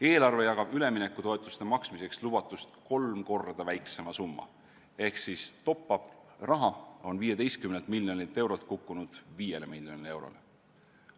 Eelarve jagab üleminekutoetuste maksmiseks lubatust kolm korda väiksema summa ehk siis top-up'i raha on 15 miljonilt eurolt kukkunud 5 miljonile eurole.